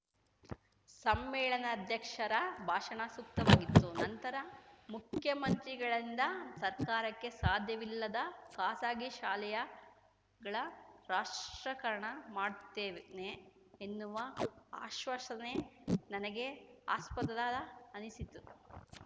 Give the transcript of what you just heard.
ಸಮ್ಮೇಳನಾಧ್ಯಕ್ಷರ ಭಾಷಣ ಸೂಕ್ತವಾಗಿತ್ತು ನಂತರ ಮುಖ್ಯಮಂತ್ರಿಗಳಿಂದ ಸರ್ಕಾರಕ್ಕೆ ಸಾಧ್ಯವಿಲ್ಲದ ಖಾಸಗಿ ಶಾಲೆಯಗಳ ರಾಷ್ಟ್ರೀಕರಣ ಮಾಡುತ್ತೇವೆನೆ ಅನ್ನುವ ಆಶ್ವಾಸನೆ ನನಗೆ ಹಾಸ್ಪದದ ಅನ್ನಿಸಿತು